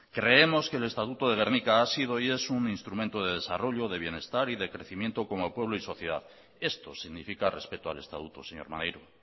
creemos que el estatuto de gernika ha sido y es un instrumento de desarrollo de bienestar y de crecimiento como pueblo y sociedad esto significa respeto al estatuto señor maneiro